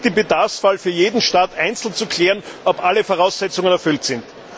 Es gilt, im Bedarfsfall für jeden Staat einzeln zu klären, ob alle Voraussetzungen erfüllt sind.